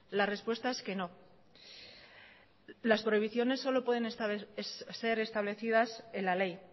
la respuesta es que no las prohibiciones solo pueden ser establecidas en la ley